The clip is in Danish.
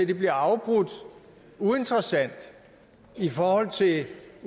det bliver afbrudt uinteressant i forhold til